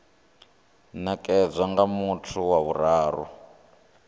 nekedzwa nga muthu wa vhuraru